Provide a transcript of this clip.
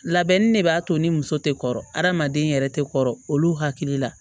Labɛnni ne b'a to ni muso tɛ kɔrɔmaden yɛrɛ tɛ kɔrɔ olu hakili la